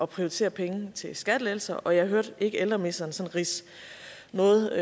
prioritere pengene til skattelettelser men jeg hørte ikke ældreministeren sådan ridse noget